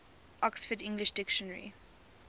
oxford english dictionary